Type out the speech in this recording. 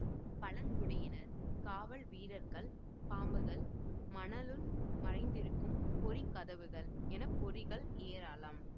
பழங்குடியினர் காவல் வீரர்கள் பாம்புகள் மணலுள் மறைந்திருக்கும் பொறி கதவுகள் என பொறிகள் ஏராளம்